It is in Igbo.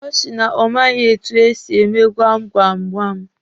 Ọ sị na ọ maghị etu esị eme gwam gwam gwam.